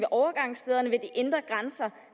overgangsstederne ved de inde grænser